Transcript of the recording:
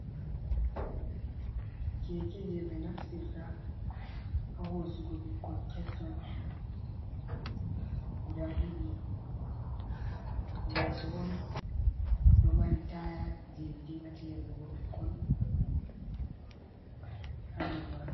Keke je ɓe naftirta ha hosugo ɓikkon keccon guda ɗiɗi, leso on ɗo mari taya je ɓe dingata yarɓugo ɓikkon hado majum.